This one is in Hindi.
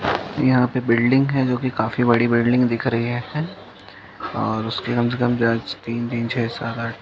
यहाँ पे बिल्डिंग है जो कि काफी बड़ी बिल्डिंग दिख रही य है ओर उसके कम से काम ज्यादा से तीन तीन छह सात आठ --